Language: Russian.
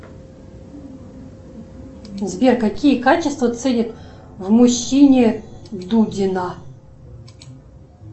сбер какие качества ценит в мужчине дудина